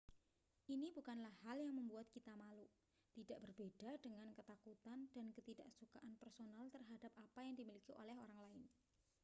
ini bukanlah hal yang membuat kita malu tidak berbeda dengan ketakutan dan ketidaksukaan personal terhadap apa yang dimiliki oleh orang lain